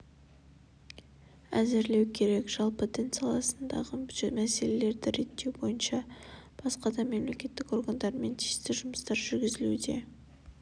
әзірлеу керек жалпы дін саласындағы мәселелерді реттеу бойынша басқа да мемлекеттік органдармен тиісті жұмыстар жүргізілуде